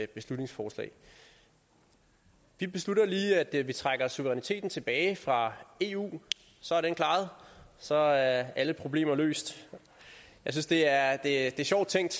beslutningsforslag vi beslutter lige at vi trækker suveræniteten tilbage fra eu så er den klaret så er alle problemer løst jeg synes det er er sjovt tænkt